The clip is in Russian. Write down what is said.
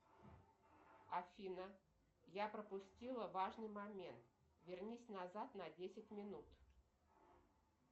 афина я пропустила важный момент вернись назад на десять минут